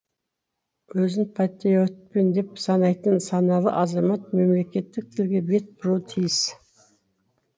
өзін патриотпын деп санайтын саналы азамат мемлекеттік тілге бет бұруы тиіс